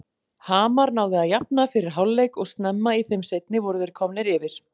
Hamar náði að jafna fyrir hálfleik og snemma í þeim seinni voru þeir komnir yfir.